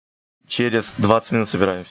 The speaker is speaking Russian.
через двадцать минут собираемся